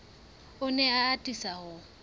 o ne a atisa ho